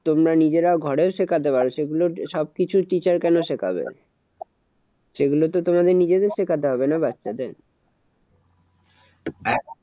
তোমরা নিজেরা ঘরেও শেখাতে পারো সেগুলো সবকিছু teacher কেন শেখাবে? সেগুলোতে তোমাদের নিজেদের শেখাতে হবে না বাচ্চাদের?